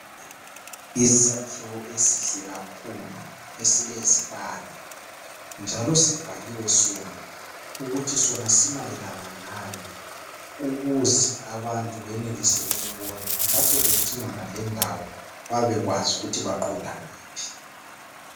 Isakhiwo esihle kakhulu esilezibane njalo sibhaliwe sona ukuthi sona simayelana ngani, ukuze abantu benelise ukubona lapho bedingana lendawo babekwazi ukuthi baqonda ngaphi.